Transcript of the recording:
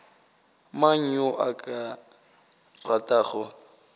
mang yo a ka ratago